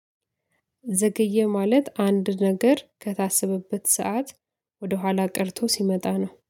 ዘገየ ማለት አንድ ነገር ከታሰበበት ሰዓት ወደኋላ ቀርቶ ሲመጣ ነው።